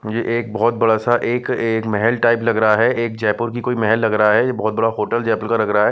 ये एक बहुत बड़ा-सा एक महल टाईप लग रहा है एक जयपुर की कोई महल लग रहा है ये बहुत बड़ा होटल जयपुर का लग रहा है।